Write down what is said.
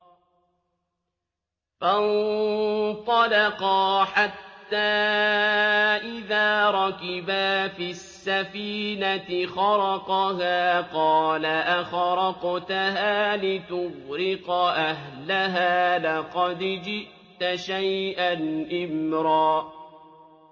فَانطَلَقَا حَتَّىٰ إِذَا رَكِبَا فِي السَّفِينَةِ خَرَقَهَا ۖ قَالَ أَخَرَقْتَهَا لِتُغْرِقَ أَهْلَهَا لَقَدْ جِئْتَ شَيْئًا إِمْرًا